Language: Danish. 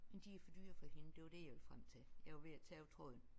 Men de er for dyre for hende det var det jeg ville frem til jeg var ved at tabe tråden